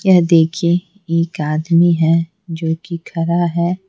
यह देखिए एक आदमी है जो कि खरा है।